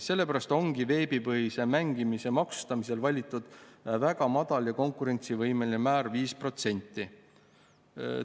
Seepärast ongi veebipõhise mängimise maksustamisel valitud väga madal ja konkurentsivõimeline määr 5%.